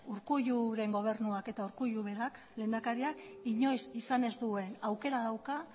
urkulluren gobernuak eta urkullu berak lehendakariak inoiz izan ez duen aukera dauka